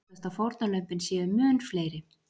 Óttast að fórnarlömbin séu mun fleiri